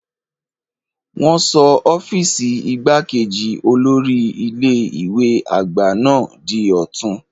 Wọn sọ ọ́fíìsì igbákejì olórí ilé ìwé àgbà náà di ọ̀tun.